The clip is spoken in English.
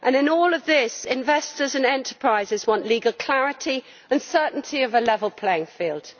In all of this, investors in enterprises want legal clarity and the certainty of a level playing field.